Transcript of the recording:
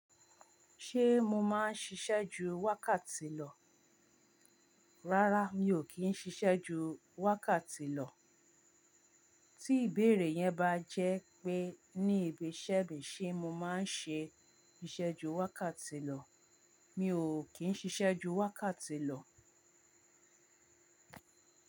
Ṣé mo máa ń ṣiṣẹ́ ju wákàtì lọ? Rárá, mi ò kí ń ṣiṣẹ́ ju wákàtì lọ. Tí ìbéèrè yẹn bá jẹ́ pé ní ibi iṣẹ́ mi ṣé mo máa ń ṣe iṣẹ́ ju wákàtì lọ, mi ò kín ṣiṣẹ́ ju wákàtì lọ.